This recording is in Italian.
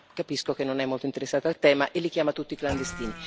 Ma capisco che non è molto interessata al tema e li chiama tutti clandestini.